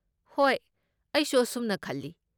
ꯍꯣꯏ, ꯑꯩꯁꯨ ꯑꯁꯨꯝꯅ ꯈꯜꯂꯤ꯫